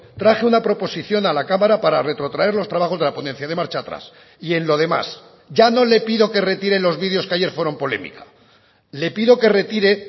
traje una proposición a la cámara para retrotraer los trabajos de la ponencia dé marcha atrás y en lo demás ya no le pido que retire los vídeos que ayer fueron polémica le pido que retire